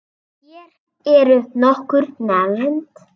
Hér eru nokkur nefnd